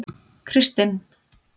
Kristin